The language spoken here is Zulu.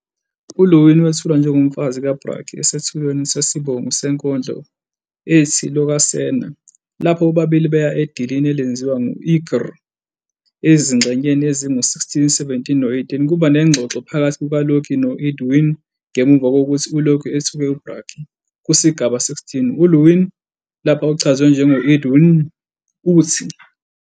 U-Iðunn wethulwa njengomfazi kaBragi esethulweni "sesibongo" senkondlo ethi Lokasenna, lapho bobabili beya edilini elenziwa ngu- irgir. Ezingxenyeni ezingu-16, 17 no-18, kuba nengxoxo phakathi kukaLoki no-Iðunn ngemuva kokuthi uLoki ethuke uBragi. Kusigaba 16, u-Iðunn, lapha uchazwe njengo- "Idunn", uthi.